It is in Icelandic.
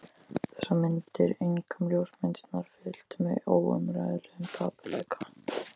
Þessar myndir, einkum ljósmyndirnar, fylltu mig óumræðilegum dapurleika.